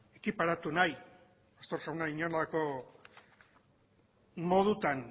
ekiparatu nahi pastor jauna inolako modutan